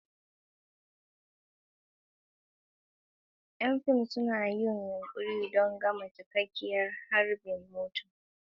Ƙarƙashin fitilun ɗakin studio masu zafi, ƴan fim suna yin yunƙuri don kama cikakkiyar harbin motar.